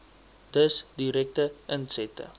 dus direkte insette